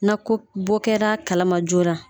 Na ko bɔ kɛra kalama joona